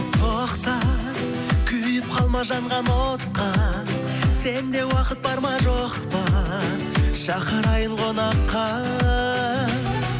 тоқта күйіп қалма жанған отқа сенде уақыт бар ма жоқ па шақырайын қонаққа